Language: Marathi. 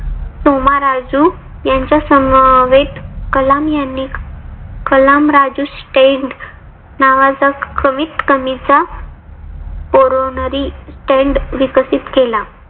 सोमा राजू यांच्या समवेत कलाम यांनी कलाम राजू stante नावाचा कमीत कमीचा porronary stante विकसित केला.